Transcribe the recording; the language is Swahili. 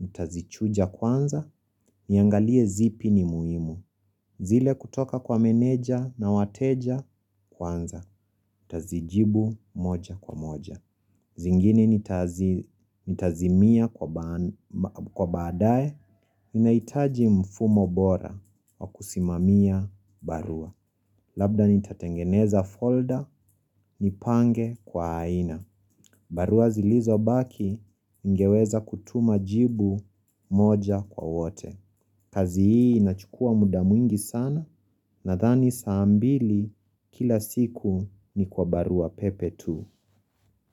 Nitazichuja kwanza, niangalie zipi ni muhimu. Zile kutoka kwa meneja na wateja kwanza. Nitazijibu moja kwa moja. Zingine nitazimia kwa baadae. Ninahitaji mfumo bora wa kusimamia barua. Labda nitatengeneza folder, nipange kwa aina. Barua zilizobaki ningeweza kutuma jibu moja kwa wote. Kazi hii inachukua muda mwingi sana nathani saa mbili kila siku ni kwa barua pepe tu.